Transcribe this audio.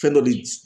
Fɛn dɔ de